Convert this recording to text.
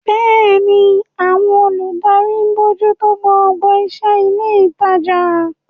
Bẹ́ẹ̀ni, àwọn olùdarí ń bójú tó gbogbo iṣẹ́ ilé ìtajà.